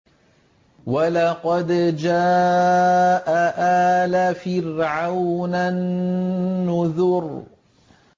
وَلَقَدْ جَاءَ آلَ فِرْعَوْنَ النُّذُرُ